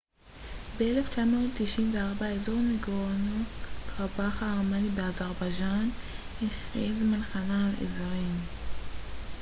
ב-1994 אזור נגורנו-קרבאך הארמני באזרבייג'אן הכריז מלחמה על האזרים